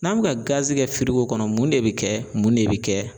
N'an be ka gazi kɛ firigo kɔnɔ mun de be kɛ mun de be kɛ